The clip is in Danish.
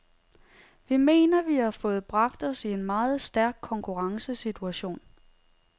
Vi mener, vi har fået bragt os i en meget stærk konkurrencesituation.